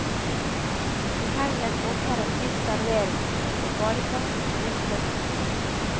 I helgen åpner et nytt serveringssted, og badeplassen rustes opp.